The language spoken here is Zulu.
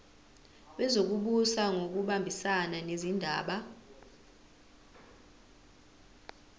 wezokubusa ngokubambisana nezindaba